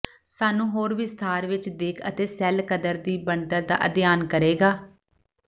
ਸਾਨੂੰ ਹੋਰ ਵਿਸਥਾਰ ਵਿੱਚ ਦਿੱਖ ਅਤੇ ਸੈੱਲ ਕਦਰ ਦੀ ਬਣਤਰ ਦਾ ਅਧਿਐਨ ਕਰੇਗਾ